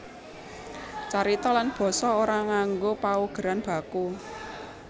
Carita lan basa ora nganggo paugeran baku